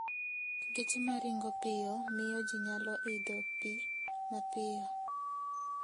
Geche ma ringo piyo miyo ji nyalo idho pi mapiyo.